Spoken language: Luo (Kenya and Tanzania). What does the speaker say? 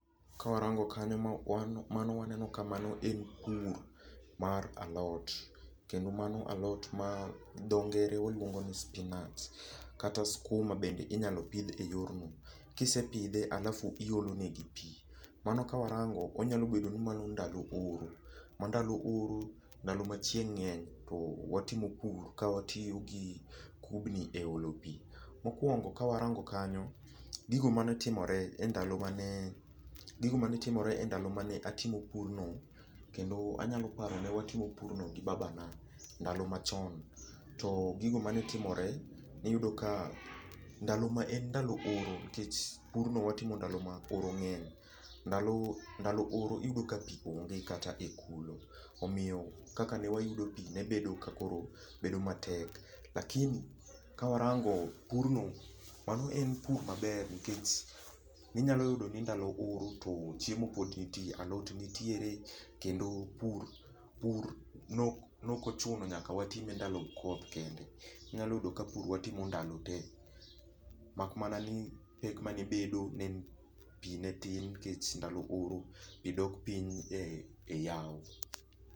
Kawarango kanyo, mano waneno ka mano en pur mar alot. Kendo mano alot ma dhoge ngere waluongo ni spinach. Kata skuma bende inyalo pidh e yor no. Kisepidhe alafu iolo negi pi. Mano kawarango, onyalo bedo ni mano ndalo oro. Ma ndalo oro, ndalo ma chieng' ngeny to watimo pur ka watiyo gi kubni e olo pi. Mokuongo ka warango kanyo, gigo mane timore e ndalo mane, gigo mane timore e ndalo mane atimo purno, kendo anyalo paro ne watimo purno gi babana. Ndalo machon. To gigo mane timore niyudo ka ndalo ma en ndalo oro, nikech pur no watimo ndalo ma oro ng'eny. Ndalo ndalo oro iyudo ka pi onge kata e kulo. Omiyo kaka ne wayudo pi ne bedo ka koro bedo matek. Lakini ka warango, pur no mano en pur maber nikech inyalo yudo ni ndalo oro to chiemo pod nitie. Alot nitiere kendo pur, pur nok ochuno nyaka watime ndalo koth kende. Nyalo yudo ka pur watimo ndalo tee. Mak mana ni pek mane bedo ne en pi ne tin nikech ndalo oro pi dok piny e yawo.